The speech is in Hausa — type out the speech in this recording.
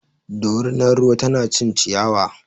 Dorinar ruwar na ta cin ciyawa.